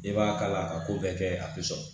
I b'a kala a ka ko bɛɛ kɛ a tɛ sɔn